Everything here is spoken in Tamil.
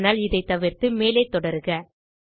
ஆனால் இதைத் தவிர்த்து மேலே தொடருக